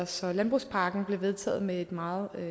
så landbrugspakken blev vedtaget med et meget